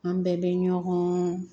An bɛɛ bɛ ɲɔgɔn